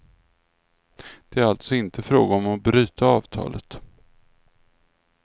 Det är alltså inte fråga om att bryta avtalet.